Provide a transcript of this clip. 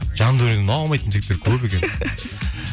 жандәуреннен аумайтын жігіттер көп екен